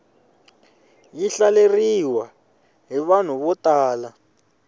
yi hlaleriwa hi vanhu vo tala